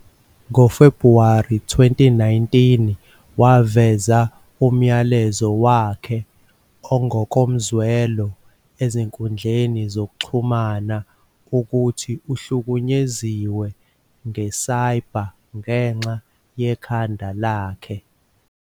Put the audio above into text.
NgoFebhuwari 2019, waveza umyalezo wakhe ongokomzwelo ezinkundleni zokuxhumana, ukuthi uhlukunyeziwe nge-cyber ngenxa yekhanda lakhe.